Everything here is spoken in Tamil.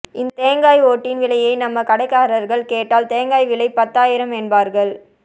இந்த தேங்காய் ஓட்டின் விலையை நம்ம கடைக்காரர்கள் கேட்டால் தேங்காய் விலை பத்தாயிரம் என்பார்கள்